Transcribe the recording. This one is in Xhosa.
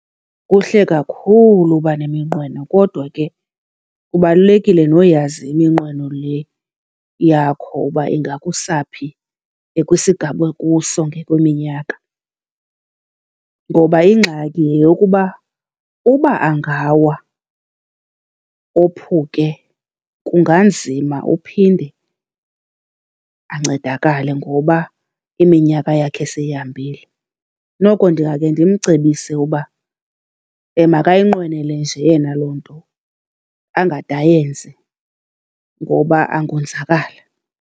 Kuhle kakhulu uba neminqweno, kodwa ke kubalulekile noyazi iminqweno le yakho uba ingakusa phi kwisigaba okuso ngokweminyaka. Ngoba ingxaki yeyokuba uba angawa ophuke kunganzima uphinde ancedakale, ngoba iminyaka yakhe seyihambile. Noko ndingakhe ndimcebise uba makayinqwenele nje yena loo nto angade ayenze, ngoba angonzakala.